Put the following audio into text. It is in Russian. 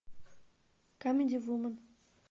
камеди вумен